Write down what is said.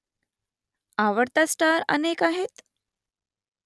आवडता स्टार अनेक आहेत ?